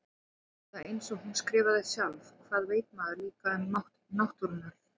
Eða einsog hún skrifaði sjálf: Hvað veit maður líka um mátt náttúrunnar.